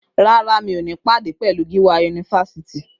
Rárá, mi ò ní pàdé pẹ̀lú olórí yunifasiti.